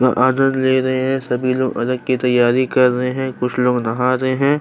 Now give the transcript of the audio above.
वो आदर ले रहे हैं सभी लोग अलग की तैयारी कर रहे हैं कुछ लोग नहा रहे हैं।